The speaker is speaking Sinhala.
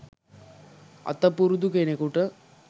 අත පුරුදු කෙනෙකුට